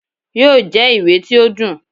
yóò jẹ ìwé tí o dùn.